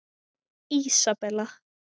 Ísabella